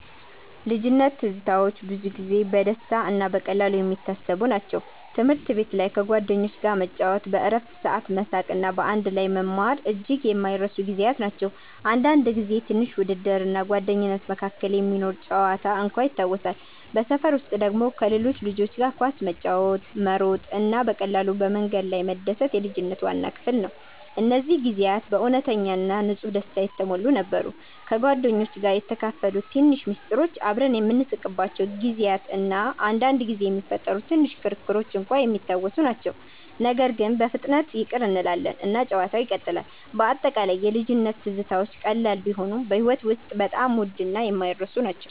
ልጅነት ትዝታዎች ብዙ ጊዜ በደስታ እና በቀላሉ የሚታሰቡ ናቸው። ትምህርት ቤት ላይ ከጓደኞች ጋር መጫወት፣ በእረፍት ሰዓት መሳቅ እና በአንድ ላይ መማር እጅግ የማይረሱ ጊዜያት ናቸው። አንዳንድ ጊዜ ትንሽ ውድድር እና ጓደኝነት መካከል የሚኖር ጨዋታ እንኳን ይታወሳሉ። በሰፈር ውስጥ ደግሞ ከሌሎች ልጆች ጋር ኳስ መጫወት፣ መሮጥ እና በቀላሉ በመንገድ ላይ መደሰት የልጅነት ዋና ክፍል ነው። እነዚህ ጊዜያት በእውነተኛ እና ንጹህ ደስታ የተሞሉ ነበሩ። ከጓደኞች ጋር የተካፈሉት ትንሽ ምስጢሮች፣ አብረን የምንስቅባቸው ጊዜያት እና አንዳንድ ጊዜ የሚፈጠሩ ትንሽ ክርክሮች እንኳን የሚታወሱ ናቸው። ነገር ግን በፍጥነት ይቅር እንላለን እና ጨዋታው ይቀጥላል። በአጠቃላይ የልጅነት ትዝታዎች ቀላል ቢሆኑም በሕይወት ውስጥ በጣም ውድ እና የማይረሱ ናቸው።